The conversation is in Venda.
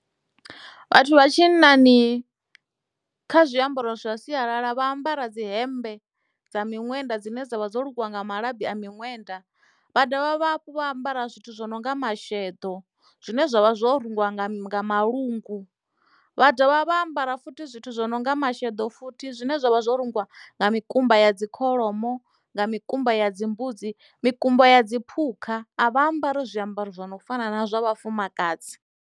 Vhathu vha tshinnani kha zwiambaro zwa sialala vha ambara dzi hemmbe dza miṅwenda dzine dza vha dzo lukiwa nga malabi a miṅwenda vha dovha hafhu vha ambara zwithu zwo no nga masheḓo zwine zwavha zwo rungiwa nga malungu vha dovha vha ambara futhi zwithu zwo no nga masheḓo futhi zwine zwavha zwo vhangiwa nga mikumba ya dzi kholomo nga mikumba ya dzimbudzi mikumba ya dzi phukha a vha ambari zwiambaro zwi no fana na zwa vhafumakadzi.